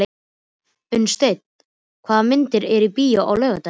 Unnsteinn, hvaða myndir eru í bíó á laugardaginn?